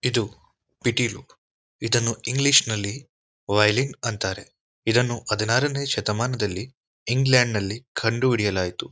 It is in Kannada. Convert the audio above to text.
ಇದು ಪಿಟೀಲು ಇದನ್ನು ಇಂಗ್ಲೀಷ ಲ್ಲಿ ವಯೊಲಿನ್ ಅಂತಾರೆ. ಇದನ್ನು ಹದಿನಾರನೆಯ ಶತಮಾನದಲ್ಲಿ ಇಂಗ್ಲೆಂಡ್ ನಲ್ಲಿ ಕಂಡುಹಿಡಿಯಲಾಯಿತು.